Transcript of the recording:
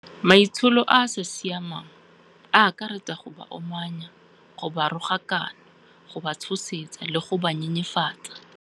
Maitsholo a a sa siamang a akaretsa go ba omanya, go ba rogakana, go ba tshosetsa le go ba nyenyefatsa.